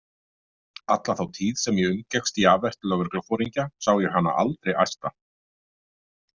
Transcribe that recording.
Alla þá tíð sem ég umgekkst Javert lögregluforingja sá ég hana aldrei æsta.